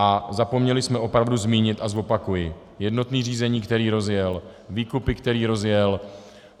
A zapomněli jsme opravdu zmínit a zopakuji: jednotné řízení, které rozjel, výkupy, které rozjel.